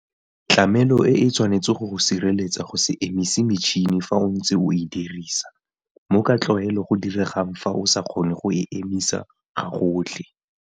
Tlamelo e e tshwanetse go go sireletsa go se emise metšhene fa o ntse o e dirisa, mo ka tlwaelo go diregang fa o sa kgone go e emisa gagotlhe.